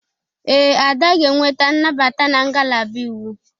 Ee, Ada ga-enweta nnabata na ngalaba Iwu.